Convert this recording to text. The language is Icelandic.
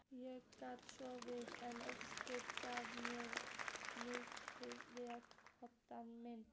Ég gat sofnað en ósköp gjálfraði mikið við koddann minn.